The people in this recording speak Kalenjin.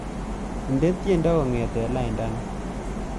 Indene tyendo kongete laindani